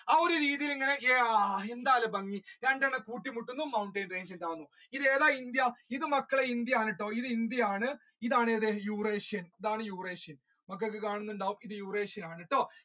ആ ഒരു രീതിയിൽ എന്താണ് അല്ലെ ഭംഗി രണ്ടെണ്ണം കൂട്ടി മുട്ടുന്നു mountain range ഉണ്ടാകുന്നു ഇത് ഏതാ ഇന്ത്യ ഇത് മക്കളെ ഇന്ത്യ ആണ് കേട്ടോ ഇന്ത്യ ആണ് ഇതാണ് മക്കൾക്ക് കാണുന്നുണ്ടാവും ഇത്